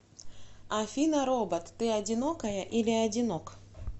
афина робот ты одинокая или одинок